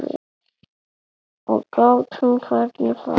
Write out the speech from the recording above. Og gátum hvergi farið.